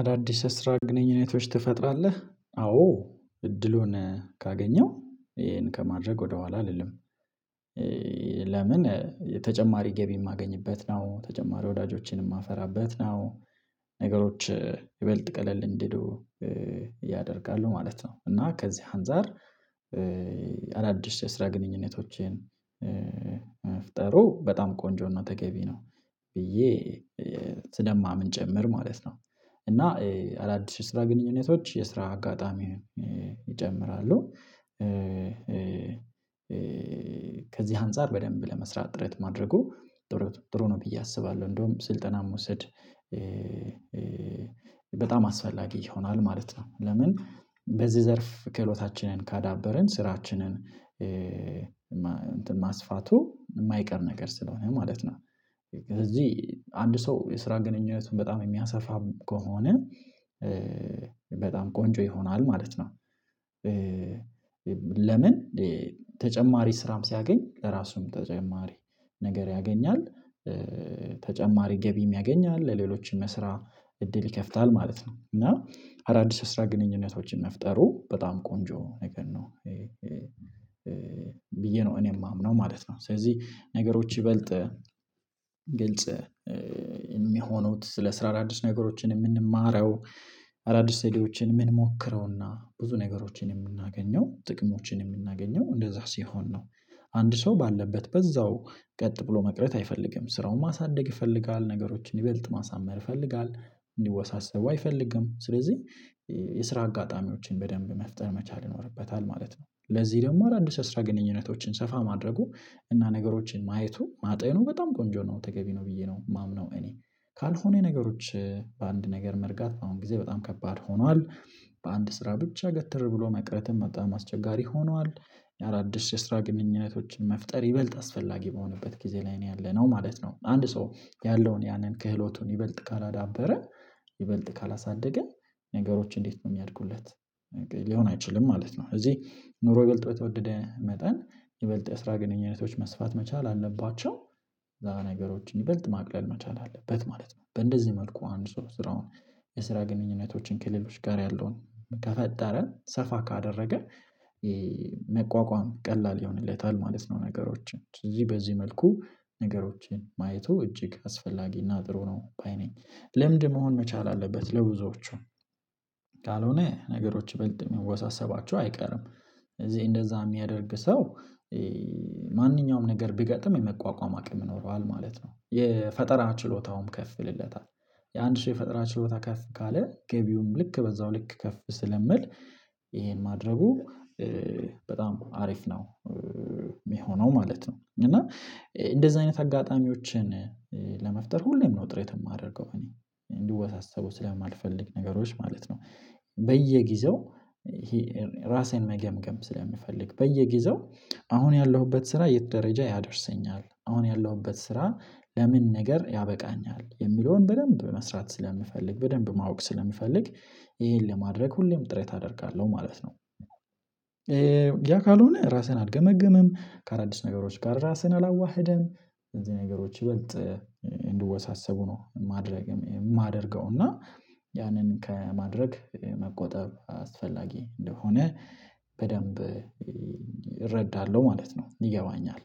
አዳዲስ የስራ ግንኙነቶች ትፈጥራለህ አዎ እድሉን ካገኘው ይሄን ከማድረግ ወደኋላ አልልም። ለምን ተጨማሪ ገቢ የማገኝበት ነው። ተጨማሪ ወዳጆችን የማፈራበት ነው። ነገሮች ይበልጥ ቀለል እንዲህ ያደርጋሉ ማለት ነው። እና ከዚህ አንፃር። አዳዲስ የስራ ግንኙነቶቼን መፍጠሩ በጣም ቆንጆ ነው ተገቢ ነው። ብዬ ስለማምን ጭምር ማለት ነው። እና አዳዲስ ስራ ግንኙነቶች የስራ አጋጣሚ ይጨምራሉ። ከዚህ አንፃር በደንብ ለመስራት ጥረት ማድረጉ ጥሩ ነው ብዬ አስባለሁ። እንደውም ስልጠና መውሰድ በጣም አስፈላጊ ይሆናል ማለት ነው። ለምን በዚህ ዘርፍ ክህሎታችንን ካዳበርን ስራችንን እንትን ማስፋቱ የማይቀር ነገር ስለሆነ ማለት ነው። እዚህ አንድ ሰው የስራ ግንኙነቱን በጣም የሚያሰፋ ከሆነ በጣም ቆንጆ ይሆናል ማለት ነው። ለምን ተጨማሪ ስራም ሲያገኝ ለራሱም ተጨማሪ ነገር ያገኛል። ተጨማሪ ገቢ የሚያገኝ አለ ለሌሎችም ስራ እድል ይከፍታል ማለት ነው። እና አዳዲስ አስራ ግንኙነቶችን መፍጠሩ በጣም ቆንጆ ነገር ነው። ብዬ ነው እኔ የማምነው ማለት ነው። ስለዚህ ነገሮች ይበልጥ ግልጽ የሚሆኑት ስለ ስራ አዲስ ነገሮችን የምንማረው አዳዲስ ዘዴዎችን የምንሞክረውና ብዙ ነገሮችን የምናገኘው ጥቅሞችን የምናገኘው እንደዛ ሲሆን ነው። አንድ ሰው ባለበት በዛው ቀጥ ብሎ መቅረት አይፈልግም ስራውን ማሳደግ ይፈልጋል ነገሮችን ይበልጥ ማሳመር ይፈልጋል። እንዲወሳሰቡ አይፈልግም ስለዚህ የስራ አጋጣሚዎችን በደንብ መፍጠር መቻል ይኖርበታል ማለት ነው። ለዚህ ደግሞ አዳዲስ አስራ ግንኙነቶችን ሰፋ ማድረጉ እና ነገሮችን ማየቱ ማጤኑ በጣም ቆንጆ ነው ተገቢ ነው። ብዬ ነው የማምነው እኔ ካልሆነ ነገሮች በአንድ ነገር መርጋት አሁን ጊዜ በጣም ከባድ ሆኗል። በአንድ ስራ ብቻ ገትር ብሎ መቅረትም በጣም አስቸጋሪ ሆኗል። ለአዳዲስ የስራ ግንኙነቶችን መፍጠር ይበልጥ አስፈላጊ በሆነበት ጊዜ ላይ ነው ያለነው ማለት ነው። አንድ ሰው ያለውን ያንን ክህሎቱን ይበልጥ ካላዳበረ ይበልጥ ካላሳደገ ነገሮች እንዴት ነው የሚያድጉለት። ሊሆን አይችልም ማለት ነው። እዚህ ኑሮ ይበልጥ የተወደደ መጠን የበለጠ የስራ ግንኙነቶች መስፋት መቻል አለባቸው። ነገሮችን ይበልጥ ማቅለል መቻል አለበት ማለት ነው። በእንደዚህ መልኩ አንድ ሶስት ስራውን የስራ ግንኙነቶችን ከሌሎች ጋር ያለውን ከፈጠረ ሰፋ ካደረገ መቋቋም ቀላል ይሆንለታል ማለት ነው። ነገሮችን እዚህ በዚህ መልኩ ነገሮችን ማየቱ እጅግ አስፈላጊና ጥሩ ነው ባይ ነኝ። ልምድ መሆን መቻል አለበት ለብዙዎቹ ካልሆነ ነገሮች ይበልጥ የሚወሳሰባቸው አይቀርም። እዚህ እንደዛ የሚያደርግ ሰው ማንኛውም ነገር ቢገጥም የመቋቋም አቅም ይኖረዋል ማለት ነው። የፈጠራ ችሎታውም ከፍ ይልለታል። የአንድ ሺህ ፈጠራ ችሎታ ከፍ ካለ ገቢውን ልክ በዛው ልክ ከፍ ስለምል ይሄን ማድረጉ በጣም አሪፍ ነው። የሚሆነው ማለት ነው። እና እንደዚህ አይነት አጋጣሚዎችን ለመፍጠር ሁሌም ነው ጥረት የማደርገው እኔ እንዲወሳሰቡ ስለማልፈልግ ነገሮች ማለት ነው። በየጊዜው ራሴን መገምገም ስለሚፈልግ በየጊዜው አሁን ያለሁበት ስራ የት ደረጃ ያደርሰኛል አሁን ያለሁበት ስራ ለምን ነገር ያበቃኛል የሚለውን በደንብ መስራት ስለምፈልግ በደንብ ማወቅ ስለምፈልግ ይሄን ለማድረግ ሁሌም ጥረት አደርጋለሁ ማለት ነው። ያ ካልሆነ ራስህን አልገመግም ከአዳዲስ ነገሮች ጋር ራስህን አላዋህደም። እንደዚህ ነገሮች ይበልጥ እንድወሳሰቡ ነው ማድረግ የማደርገው እና ያንን ከማድረግ መቆጠብ አስፈላጊ እንደሆነ በደንብ እረዳለሁ ማለት ነው። ይገባኛል።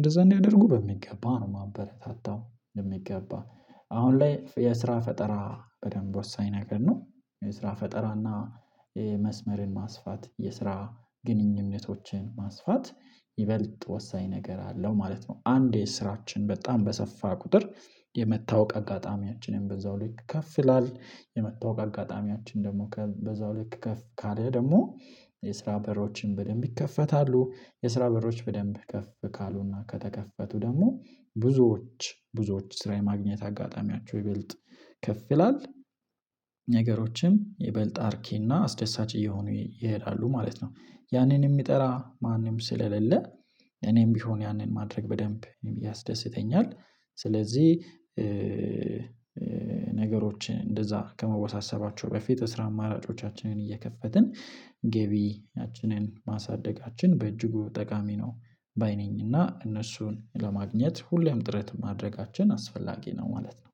እንደዛ እንዲያደርጉ በሚገባ ነው ማበረታታው የሚገባ አሁን ላይ የስራ ፈጠራ በደንብ ወሳኝ ነገር ነው። የስራ ፈጠራና የመስመርን ማስፋት የስራ ግንኙነቶችን ማስፋት ይበልጥ ወሳኝ ነገር አለው ማለት ነው። አንዴ ስራችን በጣም በሰፋ ቁጥር የመታወቅ አጋጣሚያችንን በዛው ልክ ከፍ ይላል የመታወቅ አጋጣሚያችን ደግሞ በዛው ልክ ከፍ ካለ ደግሞ የስራ በሮችን በደንብ ይከፈታሉ የስራ በሮች በደንብ ከፍ ካሉና ከተከፈቱ ደግሞ ብዙዎች ብዙዎች ስራ የማግኘት አጋጣሚያቸው ይበልጥ ከፍ ይላል። ነገሮችም ይበልጥ አርኬ እና አስደሳች እየሆኑ ይሄዳሉ ማለት ነው። ያንን የሚጠራ ማንም ስለሌለ እኔም ቢሆን ያንን ማድረግ በደንብ እኔም ያስደስተኛል። ስለዚህ ነገሮችን እንደዛ ከመወሳሰባቸው በፊት የስራ አማራጮቻችንን እየከፈትን ገቢያችንን ማሳደጋችን በእጅጉ ጠቃሚ ነው። ባይ ነኝ ነኝና እነሱን ለማግኘት ሁሌም ጥረት ማድረጋችን አስፈላጊ ነው ማለት ነው።